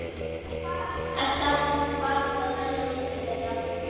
Edda varð að velja á milli þeirra.